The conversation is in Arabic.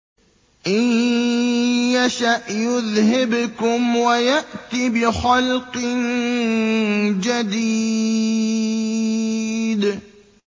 إِن يَشَأْ يُذْهِبْكُمْ وَيَأْتِ بِخَلْقٍ جَدِيدٍ